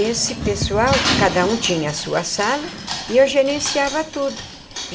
Esse pessoal, cada um tinha a sua sala e eu gerenciava tudo.